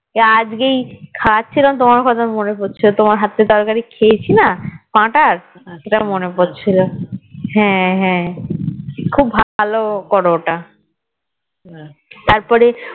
যে আজকেই খাওয়া ছিলাম তোমার কথা মনে পড়ছিলো তোমার হাত থেকে তরকারি খেয়েছি না পাঠার সেটাই মনে পড়ছিলো হ্যাঁ হাঁ খুব ভালো করো ওটা তারপরে